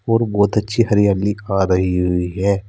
और बहुत अच्छी हरियाली आ रही हुई है।